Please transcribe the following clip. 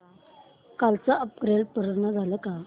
कालचं अपग्रेड पूर्ण झालंय का